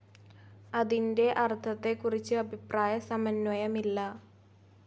അതിന്റെ അർത്ഥത്തെക്കുറിച്ച് അഭിപ്രായ സമന്വയമില്ല.